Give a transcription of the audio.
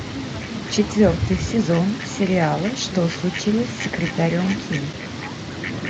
четвертый сезон сериала что случилось с секретарем ким